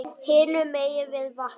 Hinum megin við vatnið.